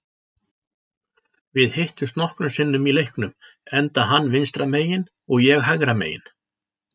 Við hittumst nokkrum sinnum í leiknum enda hann vinstra megin og ég hægra megin.